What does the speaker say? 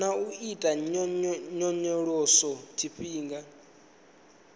na u ita nyonyoloso tshifhinga